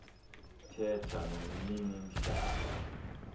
thetha nomnini mhlabaa